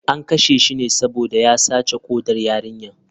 An kashe shi ne saboda ya sace kodar yarinyar.